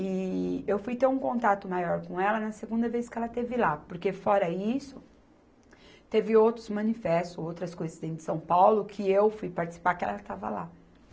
E eu fui ter um contato maior com ela na segunda vez que ela esteve lá, porque fora isso, teve outros manifestos, outras coisas dentro de São Paulo, que eu fui participar que ela estava lá.